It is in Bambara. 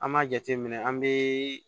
An b'a jateminɛ an bɛ